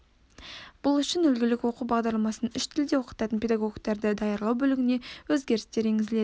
бұл үшін үлгілік оқу бағдарламасының үш тілде оқытатын педагогтерді даярлау бөлігіне өзгерістер енгізіледі